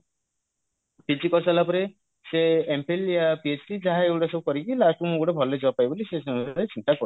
PG କରିସାରିଲା ପରେ ସେ MPhil ୟା PhD ଯାହା ଏଇଗୁଡା ସବୁ କରିକି last କୁ ମୁଁ ଗୋଟେ ଭଲ job ପାଇବି ବୋଲି ସେ ସମୟରେ ଚିନ୍ତା କରୁଥିଲେ